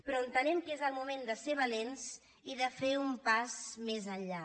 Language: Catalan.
però entenem que és el moment de ser valents i de fer un pas més enllà